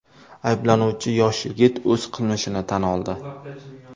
Ayblanuvchi yosh yigit o‘z qilmishini tan oldi.